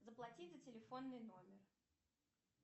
заплатить за телефонный номер